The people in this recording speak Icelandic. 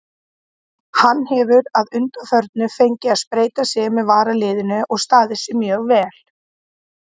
Hann hefur að undanförnu fengið að spreyta sig með varaliðinu og staðið sig mjög vel.